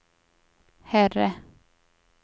herre